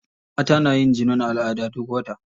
Mata na yin jinin al'ada duk wata.